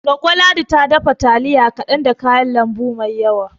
Goggo Ladi ta dafa taliya kaɗan da kayan lambu mai yawa